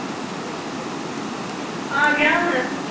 ਆਗਿਆ